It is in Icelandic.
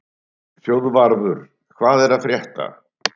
Þjóðvarður, hvað er að frétta?